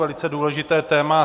Velice důležité téma.